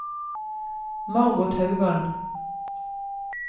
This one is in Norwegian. Margot Haugan